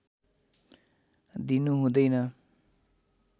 दिनु हुँदैन